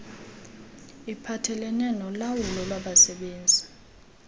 iphathelelene nolawulo lwabasebenzi